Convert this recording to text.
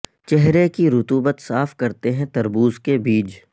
چہرے کی رطوبت صاف کرتے ہیں تربوز کے بیج